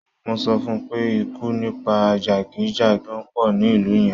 Mo sọ fun pé ikú nípa jàgídíjàgan pọ̀ ní ìlú yẹn.